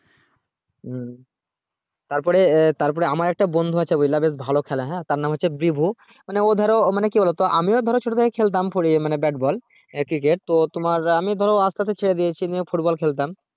তারপরে তারপরে আমার একটা বন্ধু আছে ভোলা বেশ ভালো খালে হ্যাঁ তার নাম হচ্ছে ব্রিভু মানে ও ধরো মানে কি বলতো মানে আমিও ধরো ছোট থেকে খেলতাম four এ bat ball cricket তো আমি ধরো আস্তে আস্তে ছেড়ে দিয়েছি নিয়ে football খেলতাম